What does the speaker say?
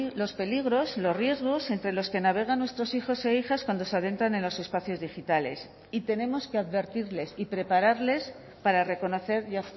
los peligros los riesgos entre los que navegan nuestros hijos e hijas cuando se adentran en los espacios digitales y tenemos que advertirles y prepararles para reconocer y